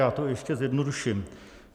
Já to ještě zjednoduším.